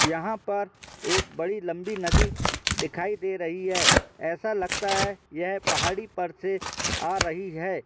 यहां पर एक लंबी- बड़ी नदी दिखाई दे रही है ऐसा लगता है यह पहाड़ी पर से आ रही है।